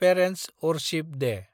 parents' औरशिप दे